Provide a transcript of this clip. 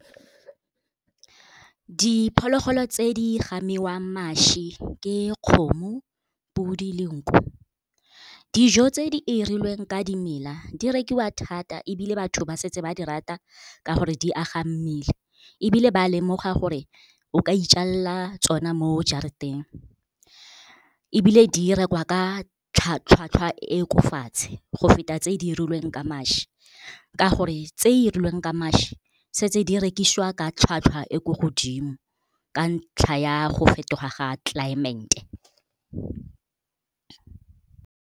Diphologolo tse di gamiwang mašwi ke kgomo, podi le nku. Dijo tse di 'irilweng ka dimela di rekiwa thata, ebile batho ba setse ba di rata ka gore di aga mmele. Ebile ba lemoga gore o ka ijalela tsona mo jarateng, ebile di rekwa ka tlhwatlhwa e ko fatshe go feta tse di irilweng ka mašwi. Ka gore, tse 'irilweng ka mašwi, setse di rekisiwa ka tlhwatlhwa e ko godimo, ka ntlha ya go fetoga ga .